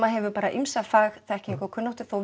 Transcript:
hefur bara ýmsa fagþekkingu og kunnáttu þó